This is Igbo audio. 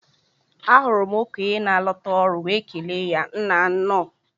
Ahụrụ m okenye na alota ọrụ wee kelee ya Nnaa nnọọ